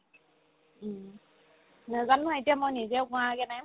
উম্, নেজানো এতিয়া মই নিজেও কোৱাগে নাই